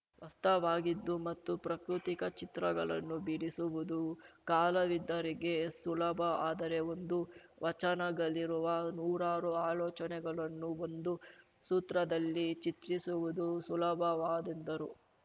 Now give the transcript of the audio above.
ವಸ್ತವಾಗಿದ್ದು ಮತ್ತು ಪ್ರಾಕೃತಿಕ ಚಿತ್ರಗಳನ್ನು ಬಿಡಿಸುವುದು ಕಾಲಾವಿದ್ದರಿಗೆ ಸುಲಭ ಆದರೆ ಒಂದು ವಚನಗಲ್ಲಿರುವ ನೂರಾರು ಆಲೋಚನೆಗಳನ್ನು ಒಂದು ಸೂತ್ರದಲ್ಲಿ ಚಿತ್ರಿಸುವುದು ಸುಲಭವಾದದ್ದರು